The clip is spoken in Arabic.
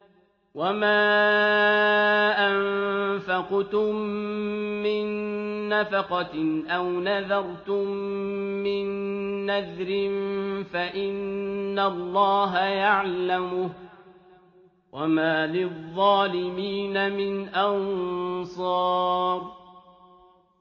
وَمَا أَنفَقْتُم مِّن نَّفَقَةٍ أَوْ نَذَرْتُم مِّن نَّذْرٍ فَإِنَّ اللَّهَ يَعْلَمُهُ ۗ وَمَا لِلظَّالِمِينَ مِنْ أَنصَارٍ